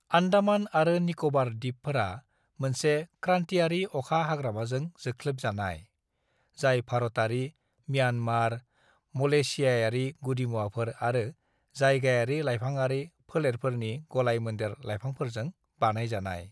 "आन्दामान आरो निक'बार दिपफोरा मोनसे क्रान्तियारि अखा हाग्रामाजों जोख्लोबजानाय, जाय भारतारि, म्यानमार, मलेशियाआरि गुदिमुवाफोर आरो जायगायारि लाइफांआरि फोलेरफोरनि गलाय-मोनदेर लाइफांफोरजों बानायजानाय।"